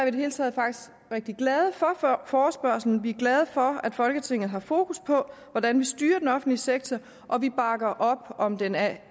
i det hele taget glade for forespørgslen vi er glade for at folketinget har fokus på hvordan vi styrer den offentlige sektor og vi bakker op om den af